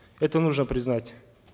это нужно признать